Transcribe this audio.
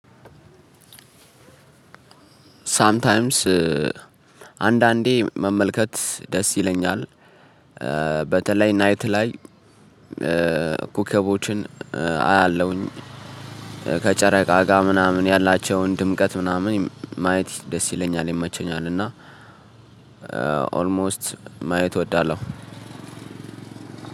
ሳምታይምስ አንዳንዴ መመልከት ደስ ይለኛል። በተለይ ናይት ላይ ኮከቦችን አያለሁኝ ከጨረቃ ጋር ምናምን ያላቸውን ድምቀት ምናምን ማየት ደስ ይለኛል ይመቸኛል እና ኦልሞስት ማየት እወዳለሁ።